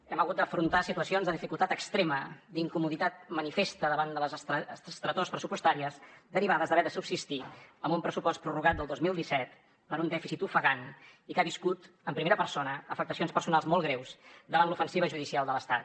hem hagut d’afrontar situacions de dificultat extrema d’incomoditat manifesta davant de les estretors pressupostàries derivades d’haver de subsistir amb un pressupost prorrogat del dos mil disset per un dèficit ofegant i que ha viscut en primera persona afectacions personals molt greus davant l’ofensiva judicial de l’estat